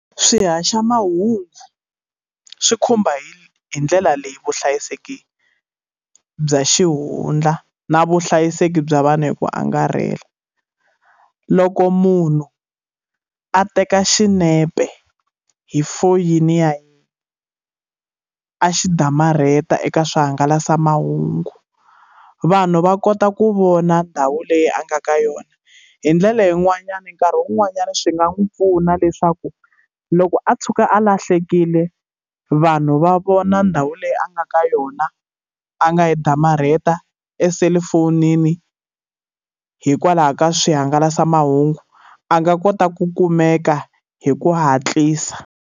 Swihaxamahungu swi khumba hi hi ndlela leyi vuhlayiseki bya xihundla na vuhlayiseki bya vanhu hi ku angarhela. Loko munhu a teka xinepe hi foyini ya yena, a xi damarhetiwa eka swihangalasamahungu, vanhu va kota ku vona ndhawu leyi a nga ka yona. Hi ndlela yin'wanyana nkarhi wun'wanyani swi nga n'wi pfuna leswaku loko a tshuka a lahlekile, vanhu va vona ndhawu leyi a nga ka yona, a nga yi damarheta eselulafonini hikwalaho ka swihangalasamahungu. A nga kota ku kumeka hi ku hatlisa.